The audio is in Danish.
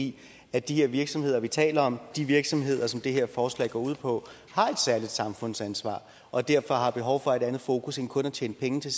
i at de her virksomheder vi taler om de virksomheder som det her forslag går på har et særligt samfundsansvar og derfor har behov for et andet fokus end kun at tjene penge til